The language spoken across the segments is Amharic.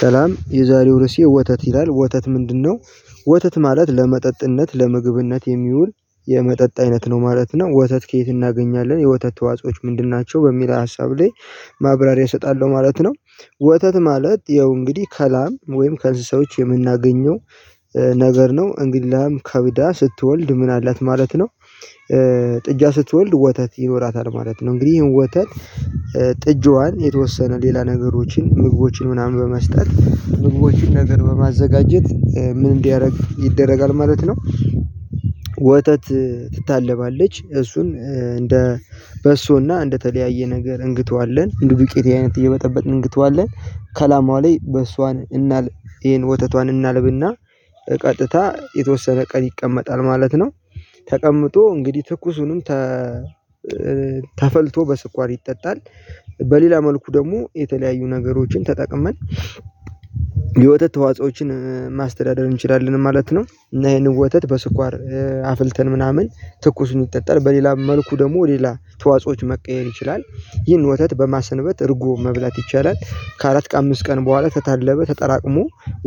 ሰላም የዛሬው ርስዬ ወተት ይላል ወተት ምንድነው ወተት ማለት ለመጠጥነት ለምግብነት የሚውል የመጠጥ አይነት ነው ማለት ነው። ወተት ከየት እናገኛለን የወተት ተዋጾዎች ምንድን ናቸው? በሚል ሀሳብ ላይ ማብራሪያ እሰጣለሁ ማለት ነው። ወተት ማለት ያው እንግዲህ ከላም ወይም ከእንስሳዎች የምናገኘው ነገር ነው እንግዲህ ለም ከብዳ ስትወልድ ምን አላት ማለት ነው። ጥጃ ስትወልድ ወተት ይኖራታል ማለት ነው። እንግዲህ ይሄን ወተት ጥጃዋን የተወሰነ ሌላ ነገሮችን ምግቦችን ምናምን በመስጠት ምግቦችን ነገር በማዘጋጀት ምን እንዲያደርግ ይደረጋል ማለት ነው። ወተት ትታለባለች እሱን እንደ በሶና እንደተለያየ ነገር እንግተዋለን ዱቄት አይነት እየበጠበጥን እንግተዋለን ከላማዋ ላይ በእሷን እናልብ ይሄን ወተቷን እናልብና ቀጥታ የተወሰነ ቀን ይቀመጣል ማለት ነው። ተቀምጦ እንግዲህ ትኩሱንም ተፈልቶ በስኳር ይጠጣል። በሌላ መልኩ ደግሞ የተለያዩ ነገሮችን ተጠቅመን የወተት ተዋጾዎችን ማስተዳደር እንችላለን ማለት ነው። እና ይሄንን ወተት በስኳር አፍልተን ምናምን ትኩሱን ይጠጠል በሌላ መልኩ ደግሞ ሌላ ተዋጾዎች መቀየር ይችላል። ይህን ወተት በማሰንበት እርጎ መብላት ይቻላል ከአራት ከአምስት ቀን በኋላ ተታለበ ተጠራቅሞ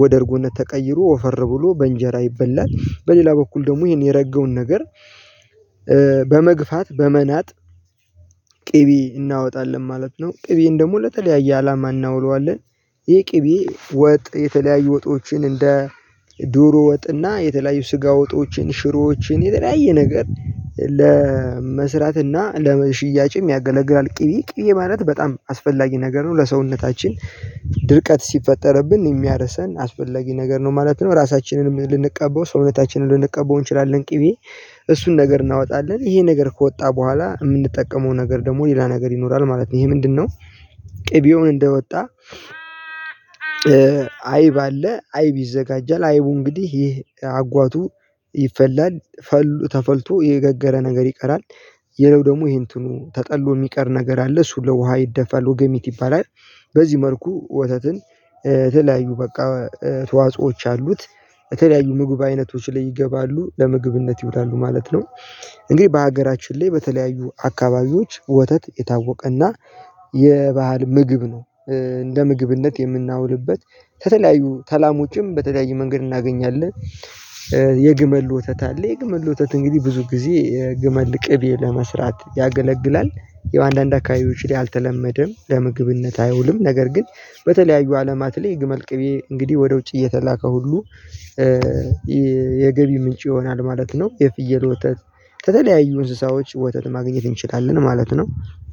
ወደ እርጎነት ተቀይሮ ወፈር ብሎ በእንጀራ ይበላል። በሌላ በኩል ደግሞ ይሄን የረገውን ነገር በመግፋት በመናጥ ቅቤ እናወጣለን ማለት ነው። ቅቤን ደግሞ ለተለያየ አላማ እናውለዋለን። ይህ ቅቤ ወጥ የተለያዩ ወጦችን እንደ ዶሮ ወጥና የተለያዩ ስጋ ወጦችን ሽሮዎችን የተለያየ ነገር ለመስራት እና ለሽያጭም ያገለግላል ቅቢ ቅቢ ማለት በጣም አስፈላጊ ነገር ነው። ለሰውነታችን ድርቀት ሲፈጠርብን የሚያረሰን አስፈላጊ ነገር ነው ማለት ነው። ራሳችንንም ልንቀበው ሰውነታችንን ልንቀበው እንችላለን። ቅቤ እሱን ነገር እናወጣለን ይሄን ነገር ከወጣ በኋላ የምንጠቀመው ነገር ደግሞ ሌላ ነገር ይኖራል ማለት ነው። ይሄ ምንድነው? ቅቤውን እንደወጣ አይብ አለ አይብ ይዘጋጃል። አይቡ እንግዲህ ይሄ አጓቱ ይፈላል ተፈልቶ የገገረ ነገር ይቀራል። ሌላው ደግሞ ይሄን እንትኑ ተጠሎ የሚቀር ነገር አለ እሱ ለውሃ ይደፋሉ ወገሚት ይባላል። በዚህ መልኩ ወተትን ተለያዩ በቃ ተዋጾዎች አሉት የተለያዩ ምግብ አይነቶች ላይ ይገባሉ ለምግብነት ይውላሉ ማለት ነው። እንግዲህ በሀገራችን ላይ በተለያዩ አካባቢዎች ወተት የታወቀና የባህል ምግብ ነው። እንደ ምግብነት የምናውልበት ተተለያዩ ተላሞችም በተለያዩ መንገድ እናገኛለን። የግመል ወተት አለ የግመል ወተት እንግዲህ ብዙ ጊዜ የግመል ቅቤ ለመስራት ያገለግላል። የአንዳንድ አካባቢዎች ላይ አልተለመደም ለምግብነት አይውልም። ነገር ግን በተለያዩ አለማት ላይ ግመል ቅቤ እንግዲህ ወደ ውጭ እየተላከ ሁሉ የገቢ ምንጭ ይሆናል ማለት ነው። የፍየል ወተት ተለያዩ እንስሳዎች ወተት ማግኘት እንችላለን ማለት ነው።